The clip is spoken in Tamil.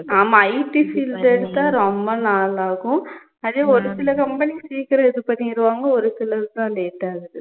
ஆமா IT field எடுத்தா ரொம்ப நாள் ஆகும் அதே ஒரு சில company சீக்கிரம் இதுபண்ணிருவாங்க ஒருசில இதுக்குதான் late ஆகுது